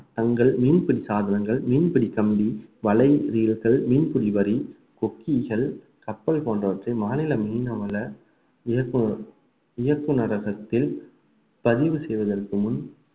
தங்கள் மீன்பிடி சாதனங்கள் மீன்பிடி கம்பி வலை மீன்பிடி வரி கொக்கிகள் கப்பல் போன்றவற்றை மாநில மீன்வள இயக்குனர்~ இயக்குனரகத்தில் பதிவு செய்வதற்கு முன்